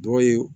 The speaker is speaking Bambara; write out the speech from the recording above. Dɔgɔ ye